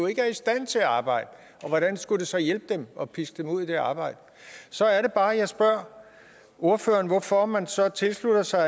ikke er i stand til at arbejde hvordan skulle det så hjælpe dem at piske dem ud i det arbejde så er det bare jeg spørger ordføreren hvorfor man så tilslutter sig